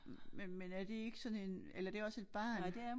Men men er det ikke sådan en eller er det også et barn?